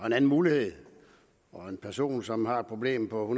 en anden mulighed og en person som har et problem på